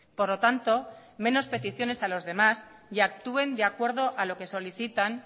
por lo tanto menos peticiones a los demás y actúen de acuerdo a lo que solicitan